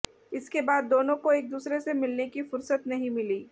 इसके बाद दोनों को एक दूसरे से मिलने की फुर्सत नहीं मिली